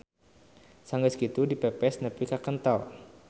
Sanggeus kitu dipepes nepi ka kentel.